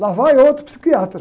Lá vai outro psiquiatra.